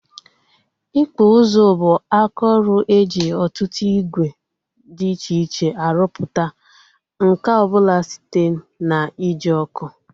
Ịkpụ ụzụ bụ aka ọrụ e ji ọtụtụ ìgwè dị iche iche arụpụta nkà ọbụla site na ị ji ọkụ